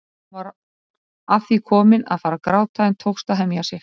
Hún var að því komin að fara að gráta en tókst að hemja sig.